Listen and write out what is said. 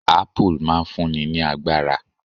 Apple' máa n fún ni ní agbára